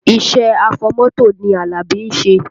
Iṣẹ́ afọmọ́tò ni Alabi ń ṣe